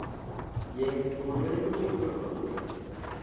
ya nga kunwalele kwo tendelwaho